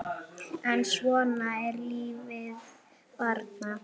En svona er lífið bara.